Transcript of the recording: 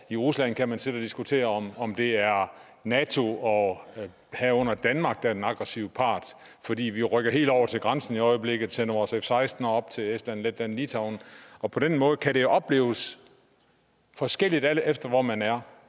i rusland kan man sidde og diskutere om om det er nato og herunder danmark der er den aggressive part fordi vi rykker helt over til grænsen i øjeblikket sender vores f seksten fly op til estland letland og litauen og på den måde kan det opleves forskelligt alt efter hvor man er